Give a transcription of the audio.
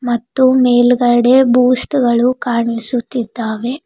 ಮತ್ತು ಮೇಲ್ಗಡೆ ಬೂಸ್ಟ್ ಗಳು ಕಾಣಿಸುತ್ತಿದ್ದಾವೆ.